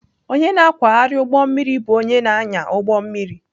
Onye na-akwagharị ụgbọ mmiri bụ onye na-anya ụgbọ mmiri.